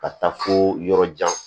Ka taa fo yɔrɔjan